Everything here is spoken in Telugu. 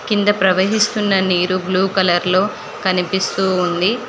కింద ప్రవహిస్తున్న నీరు బ్లూ కలర్ లో కనిపిస్తూ ఉంది.